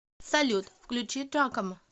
салют включить джакомо